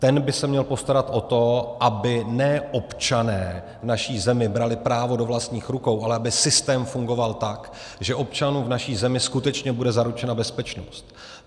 Ten by se měl postarat o to, aby ne občané v naší zemi brali právo do vlastních rukou, ale aby systém fungoval tak, že občanům v naší zemí skutečně bude zaručena bezpečnost.